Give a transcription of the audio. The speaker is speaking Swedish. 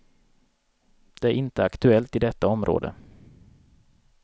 Det är inte aktuellt i detta område.